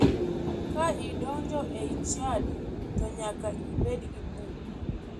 Ka idonjo e chadi to nyaka ibed gi buk.